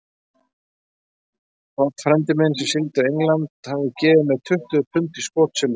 Páll frændi minn, sem sigldi á England, hafði gefið mér tuttugu pund í skotsilfur.